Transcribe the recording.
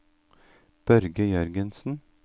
Børge Jørgensen